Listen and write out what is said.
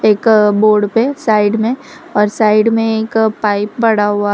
एक बोर्ड पे साइड में और साइड में एक पाइप पड़ा हुआ --